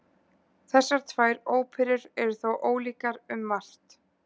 Þessar tvær óperur eru þó ólíkar um margt.